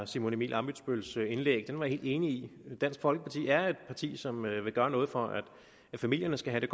simon emil ammitzbølls indlæg var jeg enig i dansk folkeparti er et parti som vil gøre noget for at familierne skal have